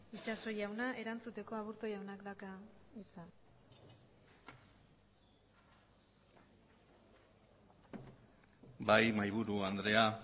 itxaso jauna erantzuteko aburto jaunak dauka hitza bai mahaiburu andrea